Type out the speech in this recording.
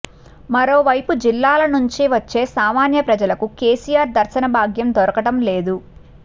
మరోవైపు జిల్లాల నుంచి వచ్చే సామాన్య ప్రజలకు కేసీఆర్ దర్శన భాగ్యం దొరకటం లేదు